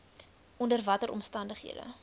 onder watter omstandighede